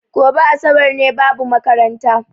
Goɓe asaɓar ne, babu maƙaranta.